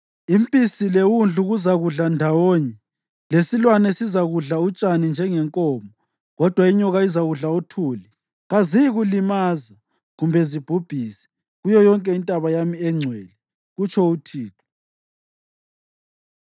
Impisi lewundlu kuzakudla ndawonye, lesilwane sizakudla utshani njengenkomo, kodwa inyoka izakudla uthuli. Kaziyikulimaza kumbe zibhubhise kuyo yonke intaba yami engcwele,” kutsho uThixo.